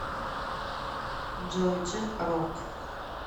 джой дже рок